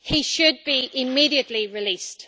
He should be immediately released.